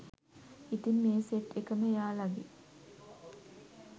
ඉතින් මේ සෙට් එකම එයාලගේ